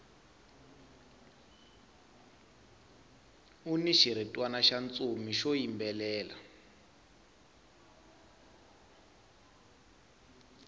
uni xiritwana xa ntsumi xo yimbelela